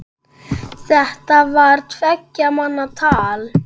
Þetta var tveggja manna tal.